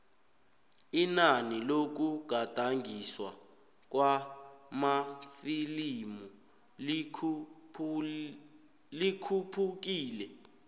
inani lokugadangiswa kwamafilimu likhuphukile